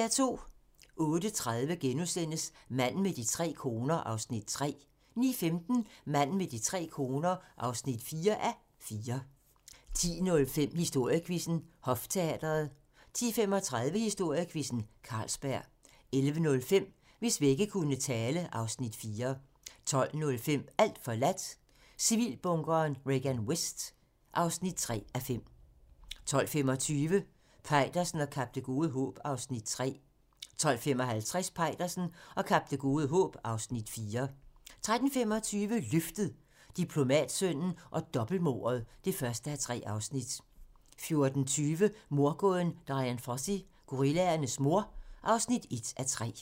08:30: Manden med de tre koner (3:4)* 09:15: Manden med de tre koner (4:4) 10:05: Historiequizzen: Hofteatret 10:35: Historiequizzen: Carlsberg 11:05: Hvis vægge kunne tale (Afs. 4) 12:05: Alt forladt - Civilbunkeren Regan Vest (3:5) 12:25: Peitersen og Kap Det Gode Håb (Afs. 3) 12:55: Peitersen og Kap Det Gode Håb (Afs. 4) 13:25: Løftet - Diplomatsønnen og dobbeltmordet (1:3) 14:20: Mordgåden Dian Fossey - gorillaernes mor (1:3)